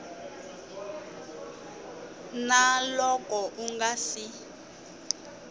na loko u nga si